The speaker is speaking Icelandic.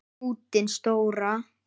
Hnútinn stóra.